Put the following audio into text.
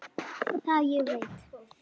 Það ég veit.